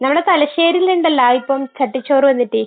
ഞങ്ങടെ തലശ്ശേരിയിൽ ഇണ്ടല്ലോ ഇപ്പൊ ചട്ടിച്ചോറ് വന്നിട്ടു